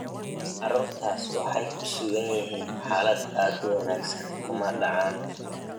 Carruurtaasi waxay ku sugan yihiin xaalad aad u wanaagsan, kuma dhacaan.